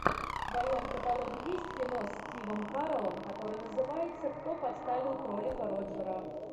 в твоем каталоге есть кино с стивом кареллом которое называется кто подставил кролика роджера